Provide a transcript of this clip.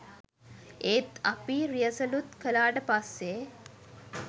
ඒත් අපි රියසලුත් කළාට පස්සේ